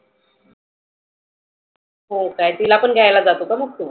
हो काय तीला पण घ्यायला जातो काय तु?